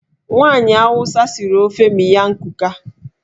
Nwaanyị Awụsa siri ofe miyan kuka.